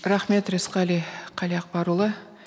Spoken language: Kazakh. рахмет рысқали қалиақбарұлы